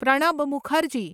Pranab Mukherjee